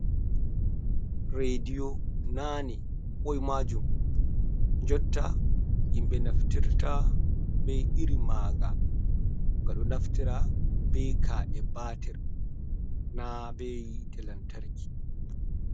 Rediyo nane ɓoi majum jotta himɓe naftirta be iri maga, nga ɗo naftira be ka’e batir na be hite lantarki ba.